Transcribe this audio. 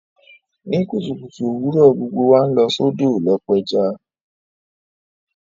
Ní kùtùkùtù òwurọ̀, gbogbo wa n lọ sódò lo pẹja